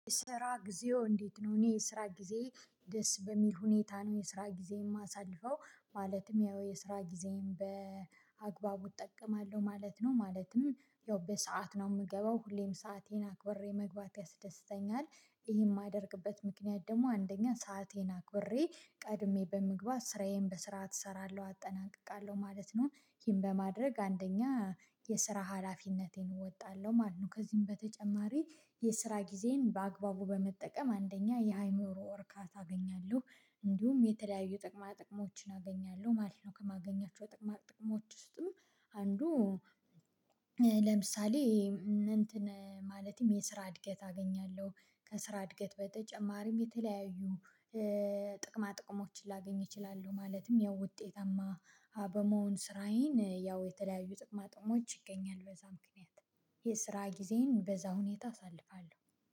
"ስራ ጊዜው እንዴት ነው?" እኔ የስራ ጊዜዬ ደስ በሚል ሁኔታ ነው የስራ ጊዜ የማሳልፈው። ማለትም ያው የስራ ጊዜን በአግባቡ እጠቀማለሁ ማለት ነው። ማለትም ያው በሰአት ነው የምገባው። ሁሌም ሰአቴን አክብሬ መግባት ያስደስተኛል። ይሄን የማደርግበት ምክንያት ደግሞ አንደኛ ሰአቴን አክብሬ ቀድሜ በመግባት ስራዬን በስርዓት እሰራለሁ አጠናቅቃለሁ ማለት ነው። ይሄን በማድረግ አንደኛ የስራ ሀላፊነቴን እወጣለሁ ማለት ነው። ከዚህም በተጨማሪ የስራ ጊዜን በአግባቡ በመጠቀም አንደኛ የአይምሮ እርካታ አገኛለሁ። እንዲሁም የተለያዩ ጥቅማ ጥቅሞችን አገኛለሁ ማለት ነው። ከማገኛቸው ጥቅማ ጥቅሞች ውስጥም አንዱ ለምሳሌ እንትን ማለትም የስራ እድገት አገኛለሁ። ከስራ እድገት በተጨማሪም የተለያዩ ጥቅማ ጥቅሞችን ላገኝ እችላለሁ። ማለትም ያው ውጤታማ በመሆን ስራዬን ያው የተለያዩ ጥቅማ ጥቅሞች ይገኛሉ በዛ ምክንያት። የስራ ጊዜን በዛ ሁኔታ አሳልፋለሁ